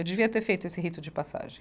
Eu devia ter feito esse rito de passagem.